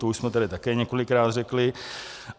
To už jsme tedy také několikrát řekli.